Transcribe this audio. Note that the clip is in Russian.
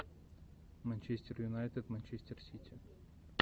манчестер юнайтед манчестер сити